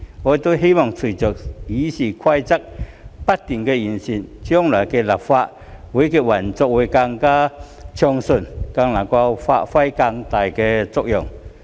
我希望隨着《議事規則》不斷完善，立法會將來的運作會更暢順，能夠發揮更大的作用。